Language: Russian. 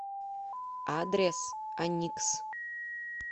адрес аникс